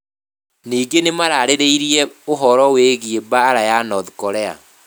Ningĩ nĩ maarĩrĩirie ũhoro wĩgiĩ mbaara ya North Korea.